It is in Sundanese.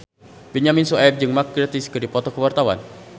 Benyamin Sueb jeung Mark Gatiss keur dipoto ku wartawan